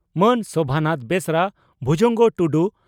ᱢᱟᱹᱱ ᱥᱚᱵᱷᱟᱱᱟᱛᱷ ᱵᱮᱥᱨᱟ ᱵᱷᱩᱡᱚᱝᱜᱚ ᱴᱩᱰᱩ